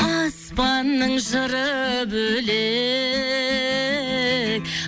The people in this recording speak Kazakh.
аспанның жыры бөлек